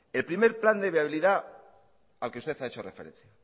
el primer plan de viabilidad al que usted ha hecho referencia